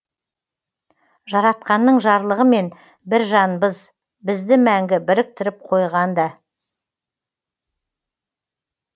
жаратқанның жарлығымен бір жанбыз бізді мәңгі біріктіріп қойған да